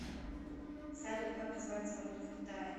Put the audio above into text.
салют как называется валюта в китае